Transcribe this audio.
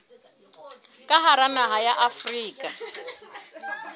ka hara naha ya afrika